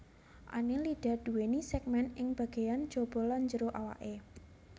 Annelida nduwèni sègmèn ing bagéyan jaba lan jero awaké